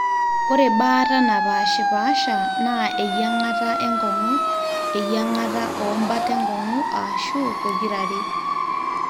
ore baata naapaashipaasha naa eyiang'ata enkong'u, eyiang'ata oombat enkong'u aashu pokirare